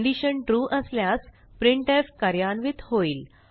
condition true असल्यास प्रिंटफ कार्यान्वित होईल